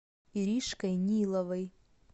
иришкой ниловой